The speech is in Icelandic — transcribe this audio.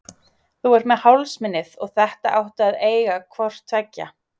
Þú ert með hálsmenið og þetta áttu að eiga hvort tveggja.